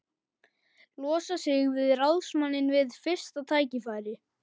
Losa sig við ráðsmanninn við fyrsta tækifæri.